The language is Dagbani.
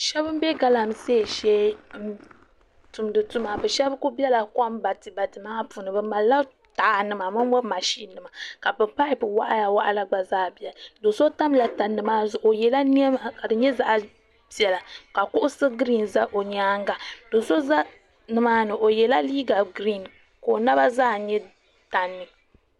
shebi m be galamsei shee n tumdi tuma be sheba kuli be la kom batibati maa puuni bɛ malila taha nima momo mashin nima ka bɛ papu waɣala waɣala gba zaa beni do'so tamla tandimaa zuɣu o yela niɛma ka di nyɛ zaɣa piɛla ka kuɣusi girin za o nyaanga do'so za nimaani o ye la liiga giriin ka o naba zaa nyɛ tandi